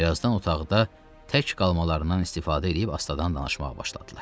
Birazdan otaqda tək qalmalarından istifadə eləyib astadan danışmağa başladılar.